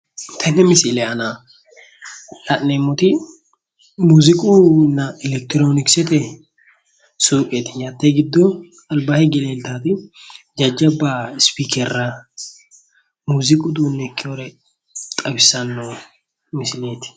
Tenne misile aana la'neemoti muuziiqunna elekitiroonikiseeti suuqeeti. Hattee giddo albaa higge leeltawooti jajabba ispiikerra muuziiqu uduunne ikkeyore xawissanno misileeti.